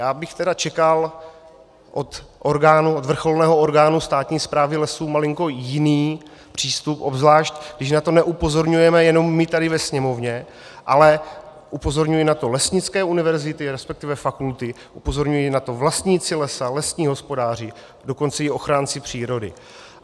Já bych tedy čekal od vrcholného orgánu státní správy lesů malinko jiný přístup, obzvlášť když na to neupozorňujeme jenom my tady ve Sněmovně, ale upozorňují na to lesnické univerzity, respektive fakulty, upozorňují na to vlastníci lesa, lesní hospodáři, dokonce i ochránci přírody.